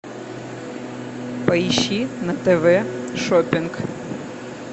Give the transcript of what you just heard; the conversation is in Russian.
поищи на тв шоппинг